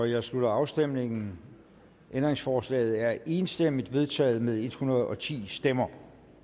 jeg slutter afstemningen ændringsforslaget er enstemmigt vedtaget med en hundrede og ti stemmer